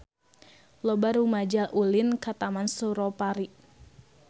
Loba rumaja ulin ka Taman Suropari